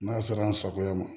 N'a sera an sagoya ma